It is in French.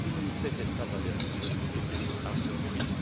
La dignité des travailleurs était à ce